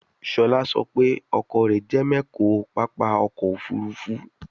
Shola so pe oko re je mecho papa oko ofurufu